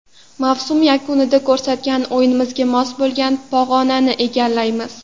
Mavsum yakunida ko‘rsatgan o‘yinimizga mos bo‘lgan pog‘onani egallaymiz”.